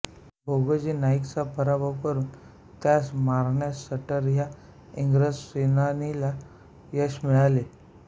भोगोजी नाईकचा पराभव करून त्यास मारण्यास सटर ह्या इंग्रज सेनानीला यश मिळाले